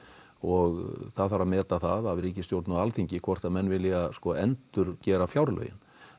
og það þarf að meta það af ríkisstjórn og Alþingi hvort menn vilji að endurgera fjárlögin